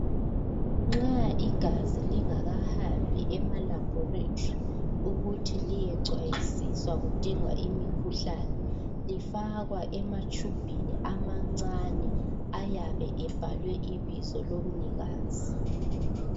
Nxa igazi lingakahambi emaLaboratory ukuthi liyecwayisiswa kudingwa imikhuhlane lifakwa ematshubhini amancane ayabe ebhalwe ibizo lomnikazi.